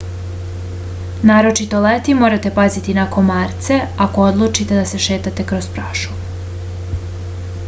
naročito leti morate paziti na komarce ako odlučite da se šetate kroz prašumu